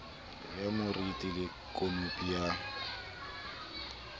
ya moriti le khanopi ya